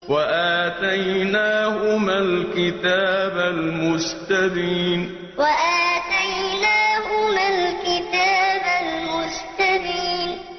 وَآتَيْنَاهُمَا الْكِتَابَ الْمُسْتَبِينَ وَآتَيْنَاهُمَا الْكِتَابَ الْمُسْتَبِينَ